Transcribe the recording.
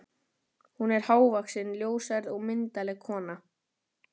Hún er hávaxin, ljóshærð og myndarleg kona.